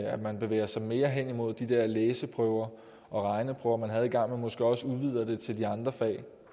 at man bevæger sig mere hen imod de der læseprøver og regneprøver man havde engang og måske også udvider det til de andre fag